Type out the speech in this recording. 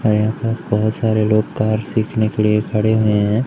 यहाँ पास बहोत सारे लोग कार सीखने के लिए खड़े हैं।